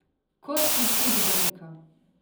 Kot iz učbenika.